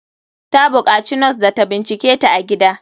Ta bukaci nos da ta binciketa a gida.